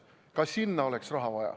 Ka sinna oleks raha vaja.